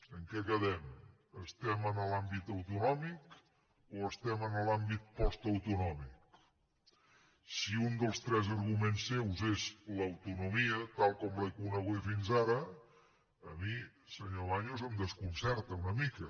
en què quedem estem en l’àmbit autonòmic o estem en l’àmbit postautonòmic si un dels tres arguments seus és l’autonomia tal com l’he coneguda fins ara a mi senyor baños em desconcerta una mica